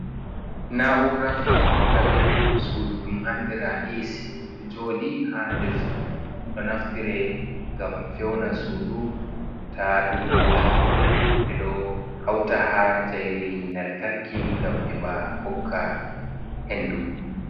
Na'ura feunirgal sudu ɗum andira esi. Ɗo joɗi ha nder suudu, ɗo naftire ngam fewna sudu ta ɗum wula, ɓe ɗo hauta ha jayeri lantarki ngam heɓa hokka hendu.